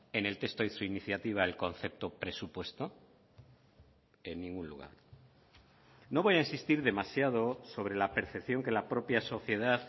en el texto de su iniciativa el concepto presupuesto en ningún lugar no voy a insistir demasiado sobre la percepción que la propia sociedad